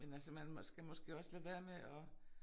Men altså man skal måske også lade være med at